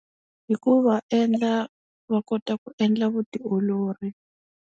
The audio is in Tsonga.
Hi ku va endla va kota ku endla vutiolori.